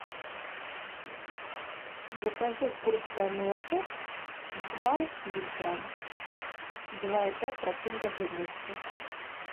закажи курское молоко два литра два и пять процента жирности